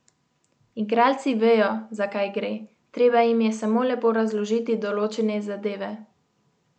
Igralci vejo, za kaj gre, treba jim je samo lepo razložiti določene zadeve.